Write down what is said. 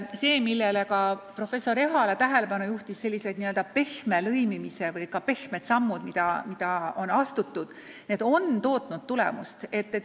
Need n-ö pehme lõimimise sammud, millele professor Ehala tähelepanu juhtis, on andnud tulemust.